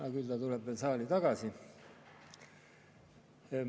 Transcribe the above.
Aga küll ta tuleb veel saali tagasi.